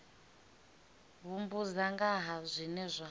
humbudza nga ha zwinwe zwe